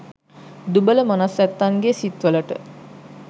දුබල මනස් ඇත්තන්ගෙ සිත් වලට